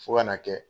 Fo ka n'a kɛ